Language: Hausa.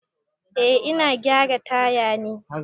Eh ina gyara taya ne.